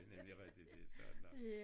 Det nemlig rigtigt det er sådan nu